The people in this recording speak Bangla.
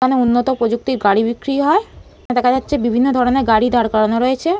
এখানে উন্নত প্রযুক্তির গাড়ি বিক্রি হয়। দেখা যাচ্ছে বিভিন্ন ধরণের গাড়ি দাঁড় করানো রয়েছে।